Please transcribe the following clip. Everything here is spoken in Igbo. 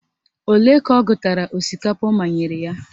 Ole ka ọ gụtara osikapa ọ manyere ya?